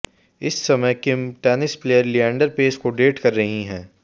इस समय Kim tennis player Leander Paes को डेट कर रही हैं